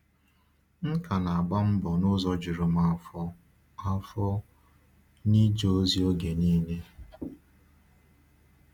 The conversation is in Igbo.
M ka na-agba mbọ n’ụzọ juru m afọ afọ n’ịje ozi oge niile.